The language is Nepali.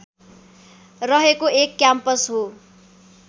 रहेको एक क्याम्पस हो